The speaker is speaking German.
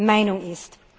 Meinung ist.